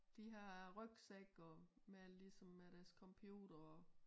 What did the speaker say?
De har rygsække og med ligesom med deres computer og